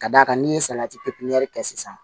Ka d'a kan n'i ye salati pipiniyɛri kɛ sisan